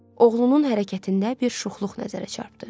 Oğlunun hərəkətində bir şuxluq nəzərə çarpdı.